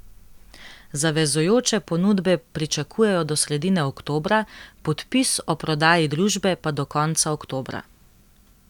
Zavezujoče ponudbe pričakujejo do sredine oktobra, podpis o prodaji družbe pa do konca oktobra.